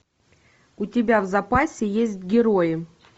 у тебя в запасе есть герои